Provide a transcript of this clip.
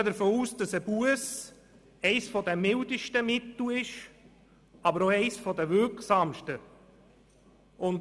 Wir gehen davon aus, dass eine Busse eines der mildesten Mittel ist, aber auch eines der wirksamsten.